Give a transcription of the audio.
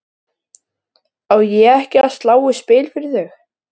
Á ég ekki að slá í spil fyrir þig?